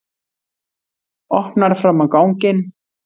Opnar fram á ganginn.